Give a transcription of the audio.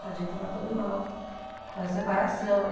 Tadinho, tava todo mal com a separação.